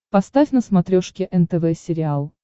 поставь на смотрешке нтв сериал